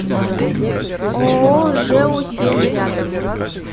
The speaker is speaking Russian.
ооо жэу семь рядом